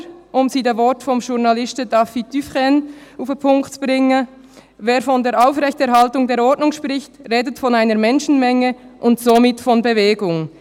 Oder, um es mit den Worten des Journalisten David Dufresne auf den Punkt zu bringen: «Wer von der Aufrechterhaltung der Ordnung spricht, redet von einer Menschenmenge und somit von Bewegung.